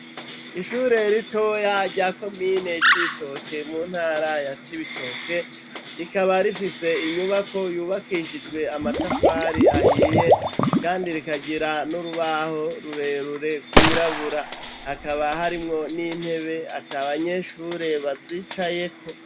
Ishure ritoya rya Komine Cibitoke mu ntara ya cibitoke, rikaba rifise inyubako yubakishijwe amatafari ahiye kandi rikagira n'urubaho rurerure rwirabura, hakaba harimwo n'intebe atabanyeshure bazicayeko.